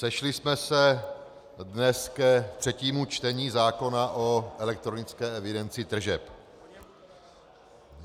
Sešli jsme se dnes ke třetímu čtení zákona o elektronické evidenci tržeb.